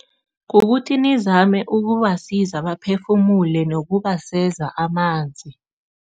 Kukuthi nizame ukubasiza baphefumule nokubaseza amanzi.